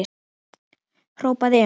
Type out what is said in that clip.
hrópaði Emil.